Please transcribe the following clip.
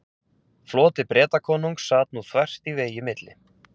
Floti Bretakonungs sat nú þvert í vegi milli